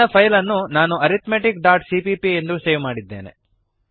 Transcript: ನನ್ನ ಫೈಲ್ ಅನ್ನು ನಾನು arithmeticಸಿಪಿಪಿ ಅರಿಥ್ಮೆಟಿಕ್ ಡಾಟ್ ಸಿಪಿಪಿ ಎಂದು ಸೇವ್ ಮಾಡಿದ್ದೇನೆ